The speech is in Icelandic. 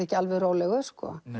ekki alveg rólegur